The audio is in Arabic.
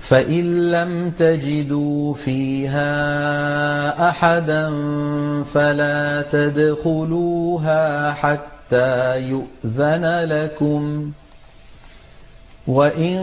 فَإِن لَّمْ تَجِدُوا فِيهَا أَحَدًا فَلَا تَدْخُلُوهَا حَتَّىٰ يُؤْذَنَ لَكُمْ ۖ وَإِن